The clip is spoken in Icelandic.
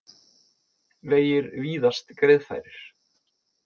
Vegir víðast greiðfærir